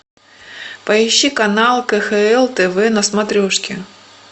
поищи канал кхл тв на смотрешке